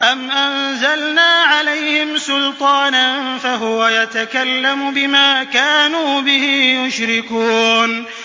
أَمْ أَنزَلْنَا عَلَيْهِمْ سُلْطَانًا فَهُوَ يَتَكَلَّمُ بِمَا كَانُوا بِهِ يُشْرِكُونَ